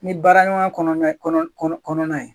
Ni baara ɲɔgɔnya kɔnɔna kɔnɔ kɔnɔ kɔnɔna ye.